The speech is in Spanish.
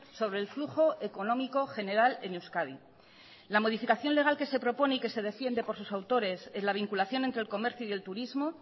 sobre el flujo económico general en euskadi la modificación legal que se propone y que se defiende por sus autores en la vinculación entre el comercio y el turismo